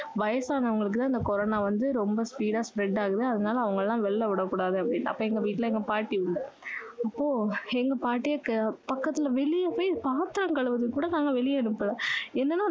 வயசானவங்களுக்கு இந்த கொரோனா வந்து ரொம்ப speed ஆ spread ஆகுது அதனால அவங்களை எல்லாம் வெளில விட கூடாது அப்படினாங்க அப்போ எங்க வீட்டுல பாட்டி இருந்தாங்க அப்போ எங்க பாட்டி பக்கத்துல வெளிய போய் பாத்திரம் கழுவுறதுக்குக் கூட நாங்க வெளிய அனுப்பல ஏன்னனா